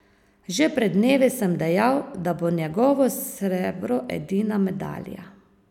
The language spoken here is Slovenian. Že pred dnevi sem dejal, da bo njegovo srebro edina medalja.